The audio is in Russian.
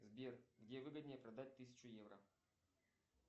сбер где выгоднее продать тысячу евро